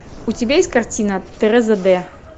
у тебя есть картина тереза д